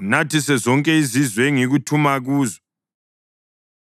unathise zonke izizwe engikuthuma kuzo.